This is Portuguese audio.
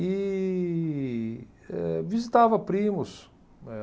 E eh visitava primos, né